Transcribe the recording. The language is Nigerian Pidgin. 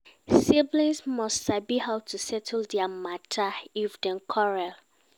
Siblings must sabi how to settle their matter if dem quarell